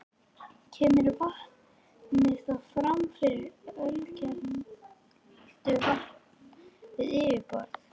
Kemur vatnið þá fram sem ölkelduvatn við yfirborð.